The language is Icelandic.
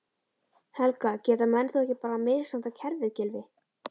Helga: Geta menn þá ekki bara misnotað kerfið Gylfi?